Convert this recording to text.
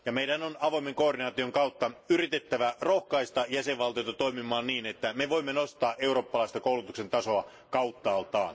Meidän on avoimen koordinaation kautta yritettävä rohkaista jäsenvaltioita toimimaan niin, että me voimme nostaa eurooppalaista koulutuksen tasoa kauttaaltaan.